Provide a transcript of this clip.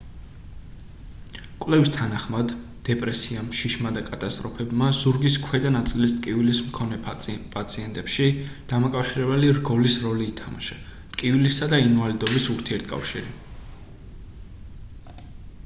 კვლევის თანახმად დეპრესიამ შიშმა და კატასტროფებმა ზურგის ქვედა ნაწილის ტკივილის მქონე პაციენტებში დამაკავშირებელი რგოლის როლი ითამაშა ტკივილისა და ინვალიდობის ურთიერთკავშირში